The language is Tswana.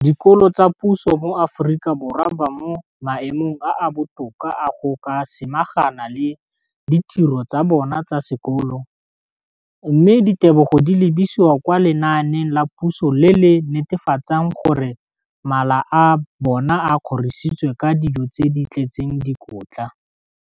Dikolo tsa puso mo Aforika Borwa ba mo maemong a a botoka a go ka samagana le ditiro tsa bona tsa sekolo, mme ditebogo di lebisiwa kwa lenaaneng la puso le le netefatsang gore mala a bona a kgorisitswe ka dijo tse di tletseng dikotla.